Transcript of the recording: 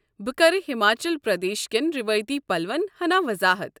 بہٕ كرٕ ہماچل پردیش کٮ۪ن رٮ۪وٲیتی پلون ہنا وضاحت ۔